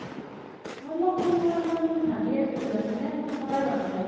মই তুমাক phone কৰিম কৰিম বুলি ভাবিয়ে আছিলো যানা নে phone কৰায়ে হুৱা নাই